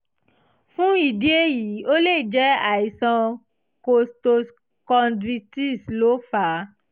fún ìdí èyí ó lè jẹ́ àìsàn costochondritis ló fà á